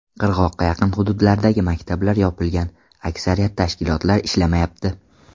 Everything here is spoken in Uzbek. Qirg‘oqqa yaqin hududlardagi maktablar yopilgan, aksariyat tashkilotlar ishlamayapti.